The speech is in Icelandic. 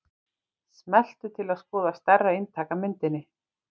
Smelltu til að skoða stærra eintak af myndinni.